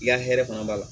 I ya hɛrɛ fana b'a la